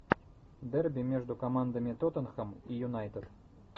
дерби между командами тоттенхэм и юнайтед